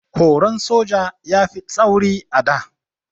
Horon soja ya fi tsauri a da.